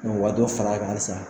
Mɛ u ka dɔ far'a kan halisa